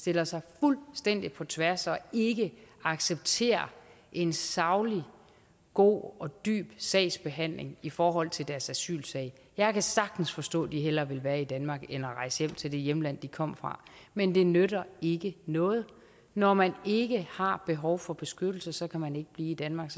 stiller sig fuldstændig på tværs og ikke accepterer en saglig god og dyb sagsbehandling i forhold til deres asylsag jeg kan sagtens forstå at de hellere vil være i danmark end rejse hjem til det hjemland de kom fra men det nytter ikke noget når man ikke har behov for beskyttelse så kan man ikke blive i danmark